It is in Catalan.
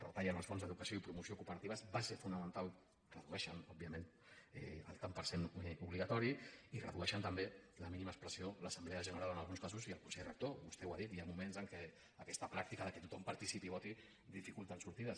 retallen els fons d’educació i promoció cooperatives base fonamental redueixen òbviament el tant per cent obligatori i redueixen també a la mínima expressió l’assemblea general en alguns casos i el consell rector vostè ho ha dit hi ha moments en què aquesta pràctica que tothom participi i voti dificulta sortides